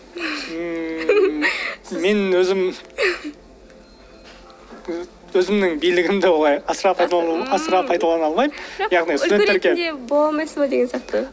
мен өзім өзімнің билігімді олай асыра асыра пайдалана алмаймын яғни студентке бола алмайсыз ба деген сияқты